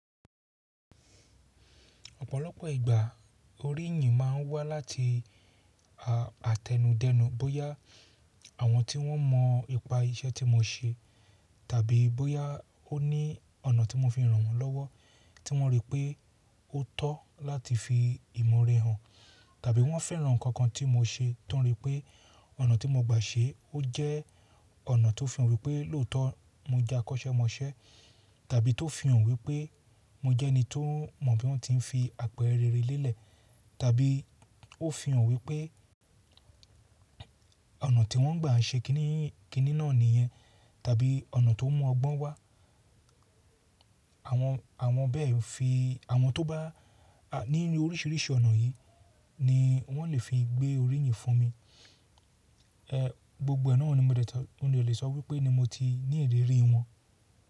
Ọ̀pọ̀lọpọ̀ ìgbà oríyìn máa ń wá láti àtẹnudẹ́nu bóyá àwọn tí wọ́n mọ ipa iṣẹ́ tí mo ṣe tàbí bóyá ó ní ọ̀nà tí mo fi ràn wọ́n lọ́wọ́ tí wọ́n rí pé ó tọ́ láti fi ìmọ̀ore hàn. Tàbí wọ́n fẹ́ran nǹkan kan tí mo ṣe tán rí pé ọ̀nà tí mo gbà ṣe ó jẹ́ ọ̀nà tó fi hàn wí pé lóòótọ́ mo jẹ́ akọ́ṣẹ́mọṣẹ́ tàbí tó fi hàn wí pé mo jẹ́ ẹni tó mọ bí wọ́n ti ń fi àpẹẹrẹ rere lélẹ̀ tàbí ó fi hàn wí pé ọ̀nà tí wọ́n gbà ń ṣe kiní kiní náà nìyẹn tàbí ọ̀nà tó mú ọgbọ́n wá. Àwọn bẹ́ẹ̀ fi, àwọn tó bá ní oríṣiríṣi ọ̀nà yìí ni wọ́n lè fi gbé oríyìn fún mi. Gbogbo ẹ nọ́ ni mi ò lè sọ wí pé ni mo ti ní ìrírí wọn.